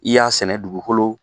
I y'a sɛnɛ dugukolo